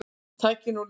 Tæknin og lífskjörin